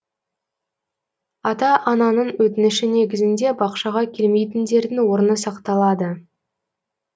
ата ананың өтініші негізінде бақшаға келмейтіндердің орны сақталады